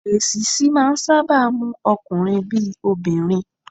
Èṣíṣí máà ń sáábà mú ọkunrin bí i obìnrin.